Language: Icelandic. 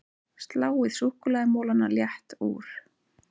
Sláið súkkulaðimolana létt úr